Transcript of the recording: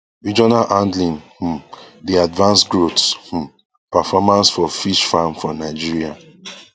regional handling um dey advance growth um performance for fish farm for nigeria